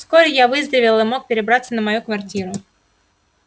вскоре я выздоровел и мог перебраться на мою квартиру